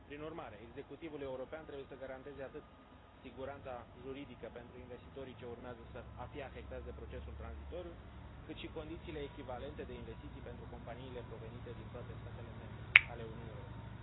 Prin urmare, executivul european trebuie să garanteze atât siguranța juridică pentru investitorii ce urmează a fi afectați de procesul tranzitoriu, cât și condițiile echivalente de investiții pentru companiile provenite din toate statele membre ale Uniunii Europene.